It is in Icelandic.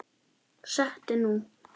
Settu nú